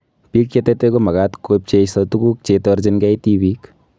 Biik che tetei ko makaat kobcheiso tetutik che itorjingei tibiik